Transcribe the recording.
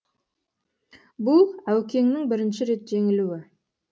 бұл әукеңнің бірінші рет жеңілуі